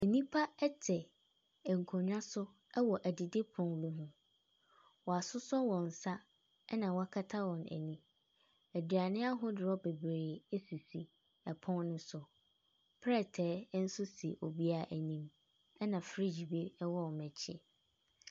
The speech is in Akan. Nnipa ɛte nkonwa so ɛwɔ edidi pono ho. Wasosɔ wɔn nsa ɛna woakata wɔ ani. Aduane ahodoɔ bebree esisi pon no so. Plete nso si obiaa anim. Ɛna freegye bi ɛwɔ ɔmo akyi.